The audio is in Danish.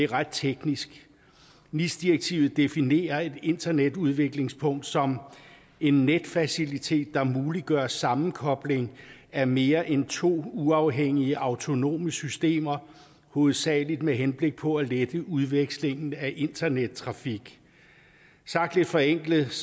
ret teknisk nis direktivet definerer et internetudvekslingspunkt som en netfacilitet der muliggør en sammenkobling af mere end to uafhængige autonome systemer hovedsagelig med henblik på at lette udvekslingen af internettrafik sagt lidt forenklet